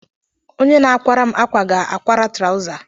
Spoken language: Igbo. Onye na-akwara m akwa ga-akwara trawza.